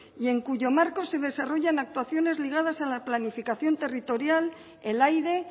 y en cuyo marco se desarrollan actuaciones ligadas a la planificación territorial el aire